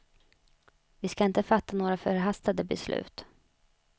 Vi ska inte fatta några förhastade beslut.